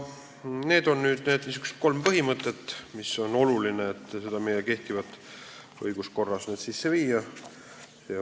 Need on need kolm põhimõtet, mille sisseviimine meie kehtivasse õiguskorda on oluline.